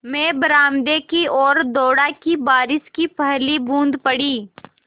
मैं बरामदे की ओर दौड़ा कि बारिश की पहली बूँद पड़ी